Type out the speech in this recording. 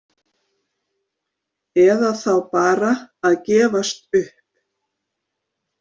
Eða þá bara að gefast upp?